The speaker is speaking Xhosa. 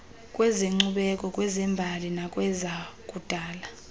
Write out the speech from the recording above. kwezenkcubeko kwezembali nakwezakudala